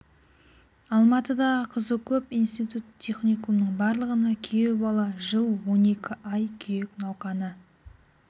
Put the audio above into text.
алматыдағы қызы көп институт-техникумның барлығына күйеу бала жыл он екі ай күйек науқаны